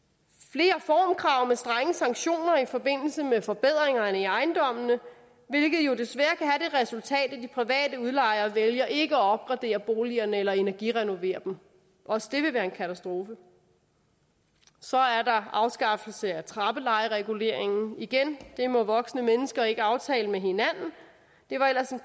flere formkrav med strenge sanktioner i forbindelse med forbedringerne i ejendommene hvilket jo desværre resultat at de private udlejere vælger ikke at opgradere boligerne eller at energirenovere dem også det vil være en katastrofe så er der afskaffelsen af trappelejereguleringen igen det må voksne mennesker ikke aftale med hinanden det var ellers en